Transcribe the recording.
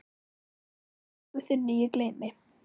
Aldrei gæsku þinni ég gleymi.